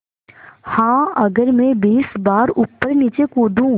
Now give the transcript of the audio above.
हाँ अगर मैं बीस बार ऊपरनीचे कूदूँ